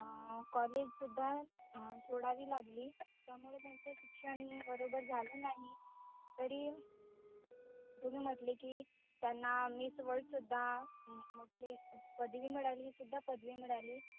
अं college सुद्धा सोडावी लागली. शिक्षण बरोबर झाले नाही तरी तुम्ही म्हटले कि त्यांना miss world सुद्धा म्हटले पदवी मिळाली हि सुद्धा पदवी मिळाली.